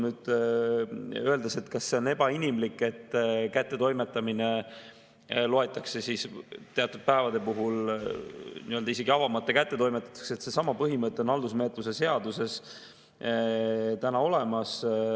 Nüüd, kas see on ebainimlik, et kättetoimetamine loetakse teatud päevade puhul nii-öelda isegi avamata kättetoimetatuks – seesama põhimõte on haldusmenetluse seaduses täna olemas.